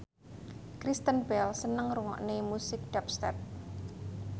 Kristen Bell seneng ngrungokne musik dubstep